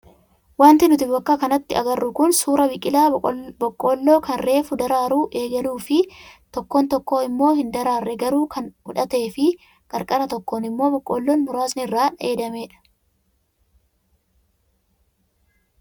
Wanti nuti bakka kanatti agarru kun suuraa biqilaa boqqoolloo kan reefu daraaruu eegaluu fi tokko tokko immoo hin daraarre garuu kan hudhatee fi qarqara tokkoon immoo boqqoolloon muraasni irraa dheedamedha.